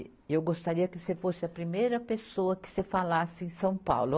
E eu gostaria que você fosse a primeira pessoa que você falasse em São Paulo.